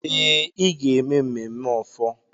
Ee, igwe ga-eme mmemme ofor.